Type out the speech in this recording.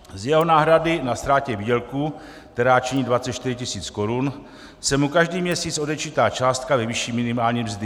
Z jeho náhrady na ztrátě výdělku, která činí 24 tisíc korun, se mu každý měsíc odečítá částka ve výši minimální mzdy.